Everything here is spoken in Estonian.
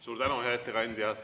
Suur tänu, hea ettekandja!